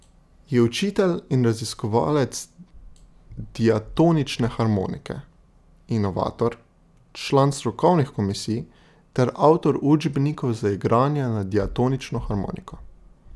Je učitelj in raziskovalec diatonične harmonike, inovator, član strokovnih komisij ter avtor učbenikov za igranje na diatonično harmoniko.